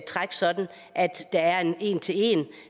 træk sådan at der er en en til en